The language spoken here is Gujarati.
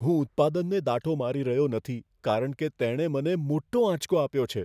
હું ઉત્પાદનને દાટો મારી રહ્યો નથી કારણ કે તેણે મને મોટો આંચકો આપ્યો છે.